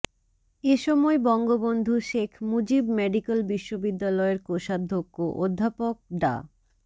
এসময় বঙ্গবন্ধু শেখ মুজিব মেডিক্যাল বিশ্ববিদ্যালয়ের কোষাধ্যক্ষ অধ্যাপক ডা